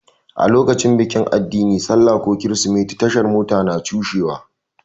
Lokacin bikin addini, sallah ko kirsimeti, tashar Mota na cushewa.